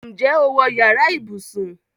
Ǹjẹ́ o wọ yàrá ibùsùn?